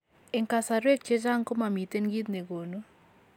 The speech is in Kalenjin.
En kasarwek chechang komomiten kiitt negonu